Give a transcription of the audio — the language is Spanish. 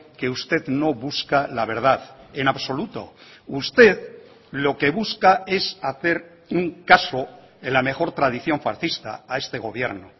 que usted no busca la verdad en absoluto usted lo que busca es hacer un caso en la mejor tradición fascista a este gobierno